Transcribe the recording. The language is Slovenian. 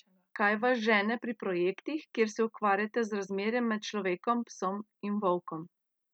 Kaj vas žene pri projektih, kjer se ukvarjate z razmerjem med človekom, psom in volkom?